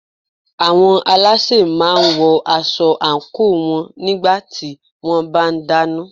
Àwọn alásè máà ń wọ aṣọ àńkò wọn nígbà tí wọ́n bá ń dáná.